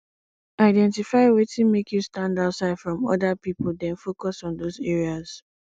identify wetin make you stand out from oda pipo then focus on those areas